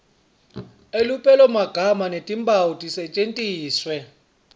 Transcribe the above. elupelomagama netimphawu tisetjentiswe